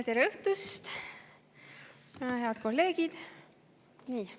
Tere õhtust, head kolleegid!